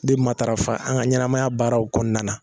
de matarafa an ŋa ɲɛnamaya baaraw kɔɔna na